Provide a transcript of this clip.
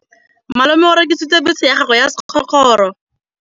Malome o rekisitse bese ya gagwe ya sekgorokgoro.